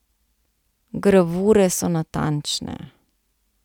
Gravure so natančne.